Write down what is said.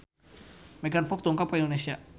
Megan Fox dongkap ka Indonesia